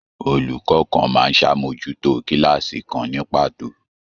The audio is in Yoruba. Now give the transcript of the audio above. Olùkọ kàn máa n sàmójútó kilaasi kan ni pàtó.